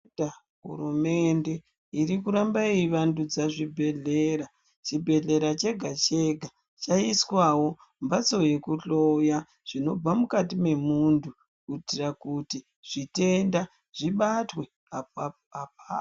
Hurumende irikuramba yeivandudza zvibhedhlera, chibhedhlera chega chega chaiswawo mhatso yekuhloya zvinobva mukati memuntu kuitira kuti zvitenda zvibatwe apapo apapo.